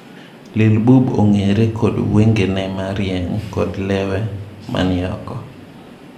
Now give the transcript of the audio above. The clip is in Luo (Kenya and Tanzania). Lil Bub ong'eere kod wenge ne marieny kod lewe man ooko.